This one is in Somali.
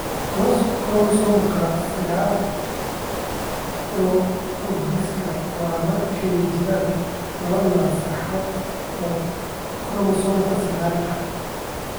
Chromosomka sagal progrogiska waa marka ay jiraan laba nasasho oo koromosoomyada sagal ah.